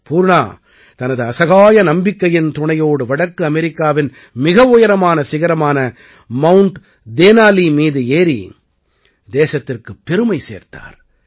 பூர்ணா தனது அசகாய நம்பிக்கையின் துணையோடு வடக்கு அமெரிக்காவின் மிக உயரமான சிகரமான மவுண்ட் தேனாலீ மீது ஏறி தேசத்திற்குப் பெருமை சேர்த்தார்